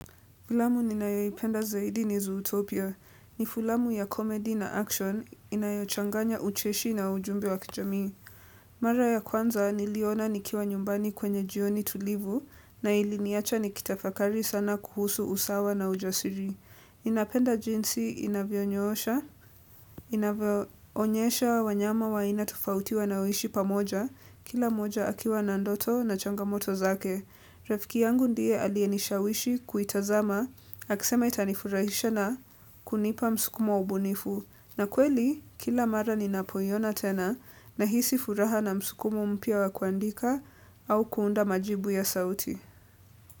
Filamu ninayoipenda zaidi ni Zootopia. Ni filamu ya comedy na action inayochanganya ucheshi na ujumbe wa kijamii. Mara ya kwanza niliona nikiwa nyumbani kwenye jioni tulivu na iliniacha nikitafakari sana kuhusu usawa na ujasiri. Ninapenda jinsi inavyonyoosha, inavyoonyesha wanyama wa aina tofauti wanaoishi pamoja, kila moja akiwa na ndoto na changamoto zake. Rafiki yangu ndiye aliyenishawishi kuitazama, akisema itanifurahisha na kunipa msukumo wa ubunifu. Na kweli, kila mara ninapoiona tena nahisi furaha na msukumo mpya wa kuandika au kuunda majibu ya sauti.